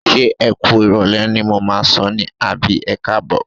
Ṣé ẹ kú ìrọ̀lẹ́ ni mo máà ń sọ ní àbí ẹkáàbọ̀?